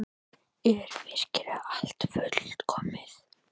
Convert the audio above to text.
Er virkilega allt fullkomið?